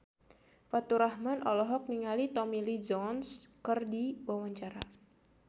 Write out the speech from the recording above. Faturrahman olohok ningali Tommy Lee Jones keur diwawancara